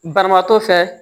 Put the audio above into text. Banabaatɔ fɛ